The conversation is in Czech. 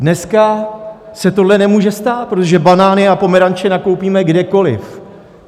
Dneska se tohle nemůže stát, protože banány a pomeranče nakoupíme kdekoliv.